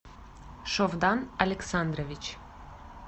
шовдан александрович